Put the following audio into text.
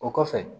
O kɔfɛ